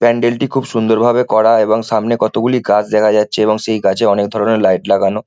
প্যান্ডেল -টি খুব সুন্দরভাবে করা এবং সামনে কতগুলি গাছ দেখা যাচ্ছে এবং সেই গাছে অনেকধরণের লাইট লাগানো।